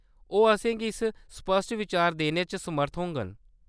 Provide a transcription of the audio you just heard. ओह्‌‌ असेंगी इक स्पश्ट बिचार देने च समर्थ होङन।